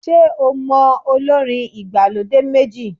Ṣé o mọ olórin ìgbàlódé méjì?